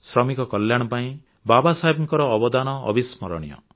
ଶ୍ରମିକ କଲ୍ୟାଣ ପାଇଁ ବାବା ସାହେବଙ୍କ ଅବଦାନ ଅବିସ୍ମରଣୀୟ